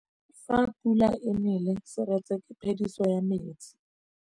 Fa pula e nelê serêtsê ke phêdisô ya metsi.